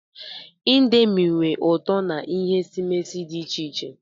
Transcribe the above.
Ịndomii nwe ụtọ na ihe esimesi dị iche iche.